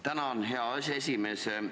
Tänan, hea aseesimees!